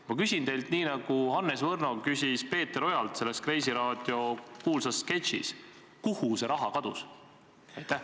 Ma küsin teilt nii, nagu Hannes Võrno küsis Peeter Ojalt selles "Kreisiraadio" kuulsas sketšis: kuhu see raha kadus?